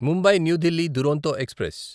Mumbai new Delhi Duronto express